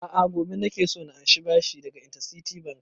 A'a gobe nake so na ansa bashi daga interciti bank